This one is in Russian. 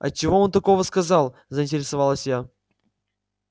а чего он такого сказал заинтересовалась я